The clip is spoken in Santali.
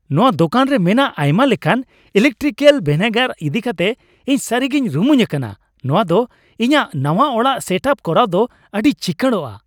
ᱱᱚᱶᱟ ᱫᱳᱠᱟᱱ ᱨᱮ ᱢᱮᱱᱟᱜ ᱟᱭᱢᱟ ᱞᱮᱠᱟᱱ ᱮᱞᱮᱠᱴᱨᱤᱠᱮᱞ ᱵᱷᱮᱱᱮᱜᱟᱨ ᱤᱫᱤ ᱠᱟᱛᱮ ᱤᱧ ᱥᱟᱹᱨᱤᱜᱮᱧ ᱨᱩᱢᱩᱧ ᱟᱠᱟᱱᱟ ᱾ ᱱᱚᱶᱟ ᱫᱚ ᱤᱧᱟᱹᱜ ᱱᱟᱣᱟ ᱚᱲᱟᱜ ᱥᱮᱴᱼᱟᱯ ᱠᱚᱨᱟᱣ ᱫᱚ ᱟᱹᱰᱤ ᱪᱤᱠᱟᱹᱲᱚᱜᱼᱟ ᱾